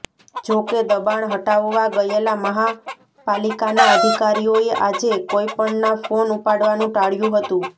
જો કે દબાણ હટાવવા ગયેલા મહાપાલિકાના અધિકારીઓએ આજે કોઈપણના ફોન ઉપાડવાનું ટાળ્યું હતું